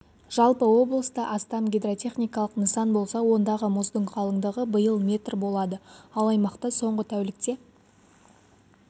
жалпы облыста астам гидротехникалық нысан болса ондағы мұздың қалыңдығы биыл метр болады ал аймақта соңғы тәулікте